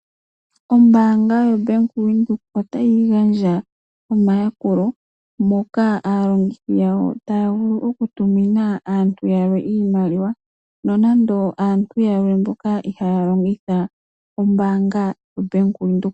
Ombaanga yaVenduka otayi gandja omayakulo moka aalongithi yawo taya vulu okutumina aantu yalwe iimaliwa, nonando aantu yalwe mboka ihaya longitha ombaanga yaVenduka.